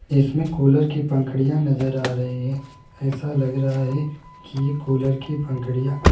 इसमें कूलर की पंखुड़ियां नजर आ रही है ऐसा लग रहा है की कूलर की पंखुड़ियां --